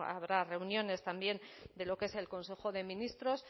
habrá reuniones también de lo que es el consejo de ministros